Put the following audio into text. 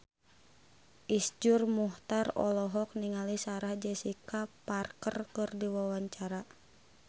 Iszur Muchtar olohok ningali Sarah Jessica Parker keur diwawancara